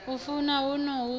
a funa huno hu na